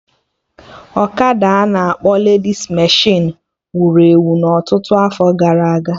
ọkada a na-akpọ ledis meshịn wuru ewu na ọtụtụ afọ gara aga